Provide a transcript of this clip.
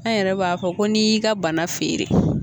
An yɛrɛ b'a fɔ ko n'i y'i ka bana feere.